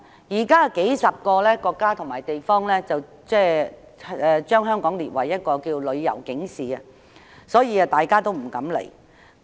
現時，有數十個國家及地區把香港列為旅遊警示地區，所以大家不敢前來。